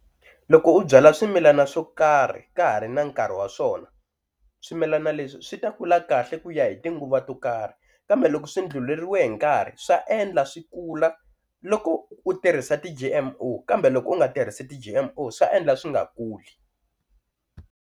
Loko u byala swimilana swo karhi ka ha ri na nkarhi wa swona swimilana leswi swi ta kula kahle ku ya hi tinguva to karhi kambe loko swi ndlhuleriwe hi nkarhi swa endla swi kula loko u tirhisa ti-G_M_O kambe loko u nga tirhisi ti-G_M_O swa endla swi nga kuli.